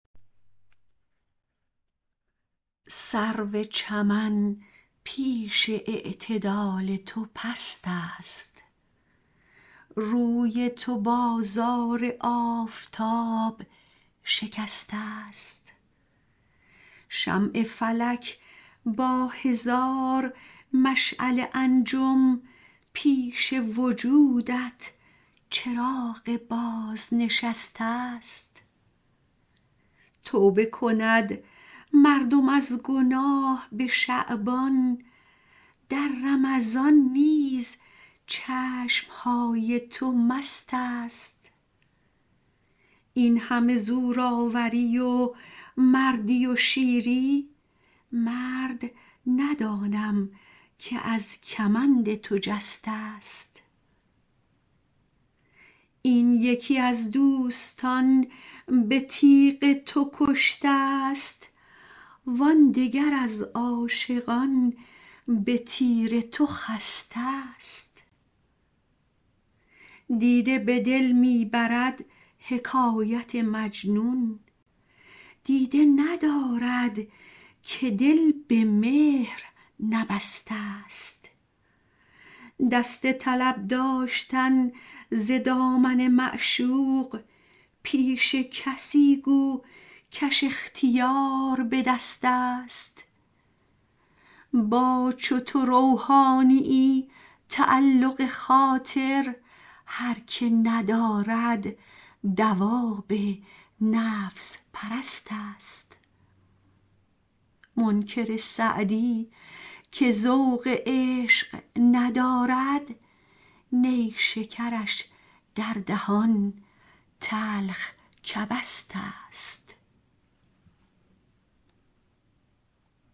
سرو چمن پیش اعتدال تو پست است روی تو بازار آفتاب شکسته ست شمع فلک با هزار مشعل انجم پیش وجودت چراغ بازنشسته ست توبه کند مردم از گناه به شعبان در رمضان نیز چشم های تو مست است این همه زورآوری و مردی و شیری مرد ندانم که از کمند تو جسته ست این یکی از دوستان به تیغ تو کشته ست وان دگر از عاشقان به تیر تو خسته ست دیده به دل می برد حکایت مجنون دیده ندارد که دل به مهر نبسته ست دست طلب داشتن ز دامن معشوق پیش کسی گو کش اختیار به دست است با چو تو روحانیی تعلق خاطر هر که ندارد دواب نفس پرست است منکر سعدی که ذوق عشق ندارد نیشکرش در دهان تلخ کبست است